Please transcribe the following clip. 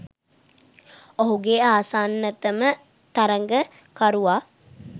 ඔහුගේ ආසන්නතම තරගකරුවා